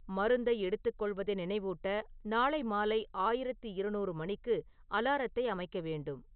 மருந்தை எடுத்துக்கொள்வதை நினைவூட்ட நாளை மாலை ஆயிரத்து இருநூறு மணிக்கு அலாரத்தை அமைக்க வேண்டும்